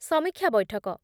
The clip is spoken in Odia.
ସମୀକ୍ଷା ବୈଠକ